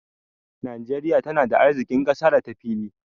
Najeriya tana da arziƙin ƙasa da ta fili.